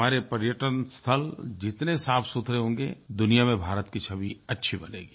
हमारे पर्यटन स्थल जितने साफ़सुथरे होंगे दुनिया में भारत की छवि अच्छी बनेगी